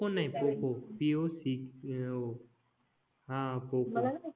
नाही Poco P O C O हां पोकॉ